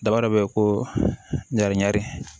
Daba dɔ bɛ ye ko ɲarami